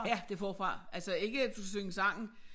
Ja det forfra altså ikke at du skal synge sangen